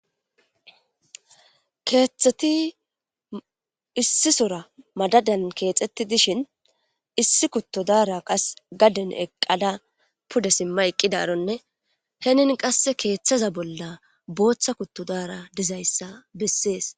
keeththeti issisora madadan keexetti dishin issi kuttodara qas gaden eqqada puda simma eqqidaronne henin qasse keeththaza bolla booththa kuttodara dizayssa bessees